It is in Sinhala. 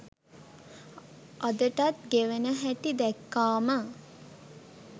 අදටත් ගෙවන හැටි දැක්කාම